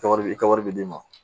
Kɛ wari i ka wari bɛ d'i ma